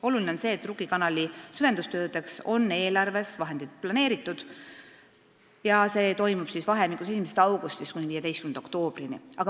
Oluline on see, et Rukki kanali süvendustöödeks on eelarves vahendid planeeritud ja töö toimub vahemikus 1. augustist kuni 15. oktoobrini.